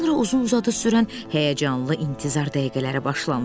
Sonra uzun-uzadı sürən həyəcanlı intizar dəqiqələri başlandı.